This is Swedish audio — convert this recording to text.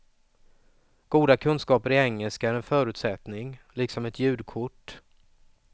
Goda kunskaper i engelska är en förutsättning, liksom ett ljudkort.